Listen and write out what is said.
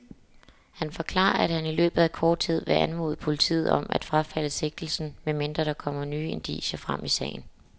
Han forklarer, at han i løbet af kort tid vil anmode politiet om at frafalde sigtelsen, medmindre der kommer nye indicier frem i sagen.